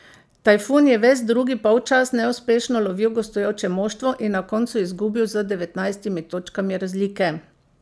Tajfun je ves drugi polčas neuspešno lovil gostujoče moštvo in na koncu izgubil z devetnajstimi točkami razlike.